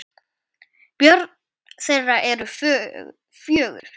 Börn þeirra eru fjögur.